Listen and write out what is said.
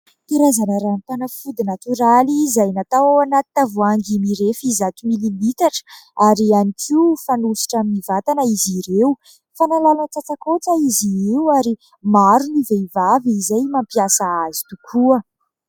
Karazana ranom-panafody natoraly izay natao ao anaty tavoahangy mirefy zato milimitatra ary ihany koa fanosotra amin'ny vatana izy ireo. Fanalana tsatsakaotra izy io ary maro ny vehivavy izay mampiasa azy tokoa.